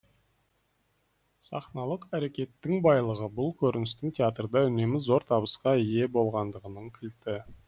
сахналық әрекеттің байлығы бұл көріністің театрда үнемі зор табысқа ие болғандығының кілті